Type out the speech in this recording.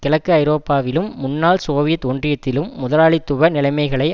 கிழக்கு ஐரோப்பாவிலும் முன்னாள் சோவியத் ஒன்றியத்திலும் முதலாளித்துவ நிலைமகளை